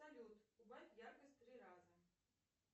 салют убавь яркость в три раза